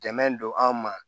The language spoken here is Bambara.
Dɛmɛ don an ma